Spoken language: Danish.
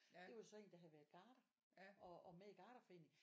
Det var så en der havde været garder og med i garderforeningen